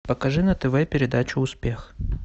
покажи на тв передачу успех